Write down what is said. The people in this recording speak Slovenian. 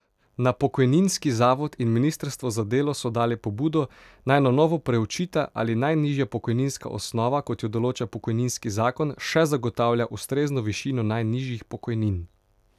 Na pokojninski zavod in ministrstvo za delo so dali pobudo, naj na novo preučita, ali najnižja pokojninska osnova, kot jo določa pokojninski zakon, še zagotavlja ustrezno višino najnižjih pokojnin.